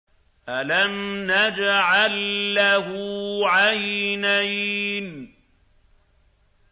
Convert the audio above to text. أَلَمْ نَجْعَل لَّهُ عَيْنَيْنِ